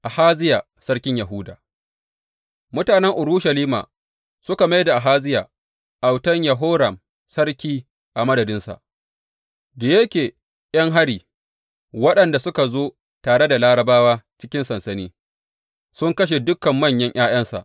Ahaziya sarkin Yahuda Mutanen Urushalima suka mai da Ahaziya, autan Yehoram, sarki a madadinsa, da yake ’yan hari, waɗanda suka zo tare da Larabawa cikin sansani, sun kashe dukan manyan ’ya’yansa.